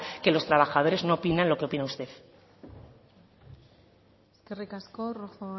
que los trabajadores no opinan lo que opina usted eskerrik asko rojo